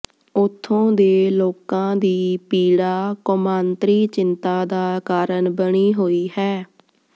ਉਥੋਂ ਦੇ ਲੋਕਾਂ ਦੀ ਪੀੜਾ ਕੌਮਾਂਤਰੀ ਚਿੰਤਾ ਦਾ ਕਾਰਨ ਬਣੀ ਹੋਈ ਹੈ